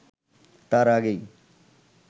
তার আগেই